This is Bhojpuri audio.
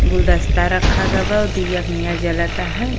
गुलदस्ता रखा गवा और दिया के निया जलता है।